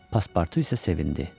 Pasportu isə sevindi.